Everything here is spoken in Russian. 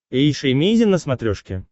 эйша эмейзин на смотрешке